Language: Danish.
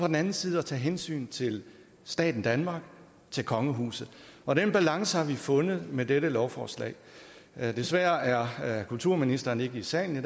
den anden side at tage hensyn til staten danmark til kongehuset og den balance har vi fundet med dette lovforslag desværre er kulturministeren ikke i salen i